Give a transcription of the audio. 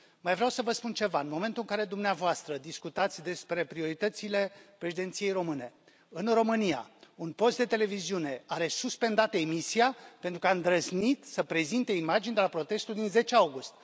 Mai vreau să vă spun ceva în momentul care dumneavoastră discutați despre prioritățile Președinției Române, în România, un post de televiziune are suspendată emisia, pentru că a îndrăznit să prezinte imagini de la protestul din 10 august.